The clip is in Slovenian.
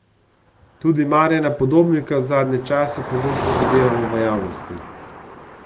Tudi Marjana Podobnika zadnje čase pogosto videvamo v javnosti.